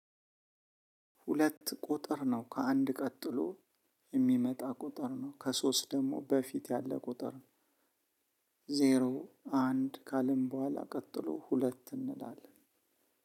ሁለት ቁጥር ነው ከአንድ ቀጥሎ የሚመጣ ቁጥር ነው ከሶስት ደግሞ በፊት ያለ ቁጥር። ዜሮ አንድ ካልን በኋላ ቀጥሎ ሁለት እንላለን።